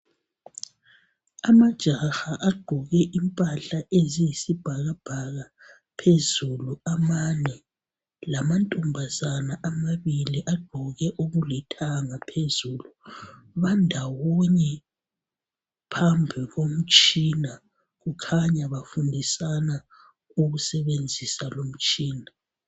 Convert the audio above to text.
Amajaha agqoke impahla eziyisibhakabhaka phezulu amane . Lamantombazana amabili agqoke okulithanga phezulu. Bandawonye phambikomtshina ,kukhanya bafundisana ukusebenzisa lumitshina.